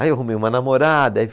Aí eu arrumei uma namorada. Aí